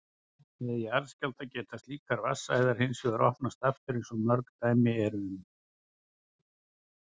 Við jarðskjálfta geta slíkar vatnsæðar hins vegar opnast aftur eins og mörg dæmi eru um.